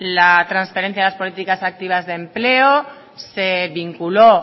la transferencia de las políticas activas de empleo se vinculó